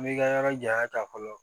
N bɛ ka yɔrɔ janya ta fɔlɔ